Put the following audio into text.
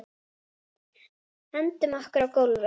Hendum okkur á gólfið.